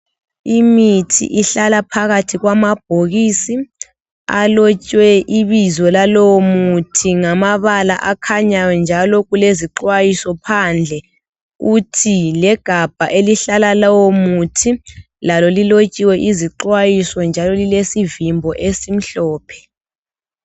Imithi ihlala phakathi kwamabhokisi alotshwe ibizo lalowo muthi ngamabala akhanyayo njalo kulezixwayiso phandle kuthi legabha elihlala lowomuthi lalo lilotshiwe izixwayiso njalo lilesivimbo esimhlophe